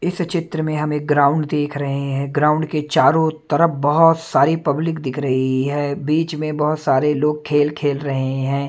इस चित्र में हम एक ग्राउंड देख रहे हैं ग्राउंड के चारों तरफ बहोत सारी पब्लिक दिख रही है बीच में बहोत सारे लोग खेल खेल रहे हैं।